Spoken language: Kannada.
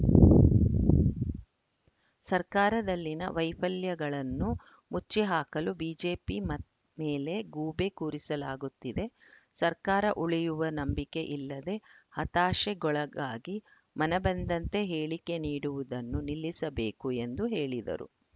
ಸರ್ಕಾರದಲ್ಲಿನ ವೈಫಲ್ಯಗಳನ್ನು ಮುಚ್ಚಿಹಾಕಲು ಬಿಜೆಪಿ ಮತ್ ಮೇಲೆ ಗೂಬೆ ಕೂರಿಸಲಾಗುತ್ತಿದೆ ಸರ್ಕಾರ ಉಳಿಯುವ ನಂಬಿಕೆ ಇಲ್ಲದೆ ಹತಾಶೆಗೊಳಗಾಗಿ ಮನಬಂದಂತೆ ಹೇಳಿಕೆ ನೀಡುವುದನ್ನು ನಿಲ್ಲಿಸಬೇಕು ಎಂದು ಹೇಳಿದರು